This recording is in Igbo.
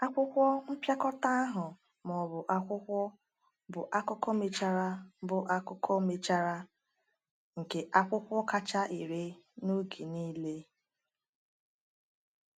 Akwụkwọ mpịakọta ahụ, ma ọ bụ akwụkwọ, bụ akụkọ mechara bụ akụkọ mechara nke akwụkwọ kacha ere n’oge niile.